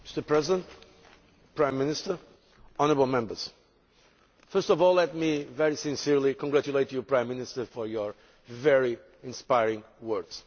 Mr President, Prime Minister, honourable Members, first of all let me very sincerely congratulate you, Prime Minister, for your very inspiring words.